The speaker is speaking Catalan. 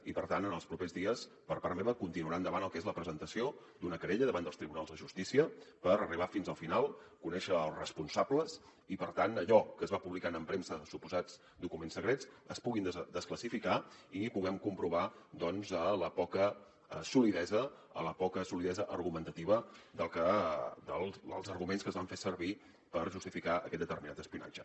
i per tant en els propers dies per part meva continuarà endavant el que és la presentació d’una querella davant dels tribunals de justícia per arribar fins al final conèixer els responsables i per tant allò que es va publicant en premsa de suposats documents secrets es puguin desclassificar i puguem comprovar doncs la poca solidesa argumentativa dels arguments que es van fer servir per justificar aquest determinat espionatge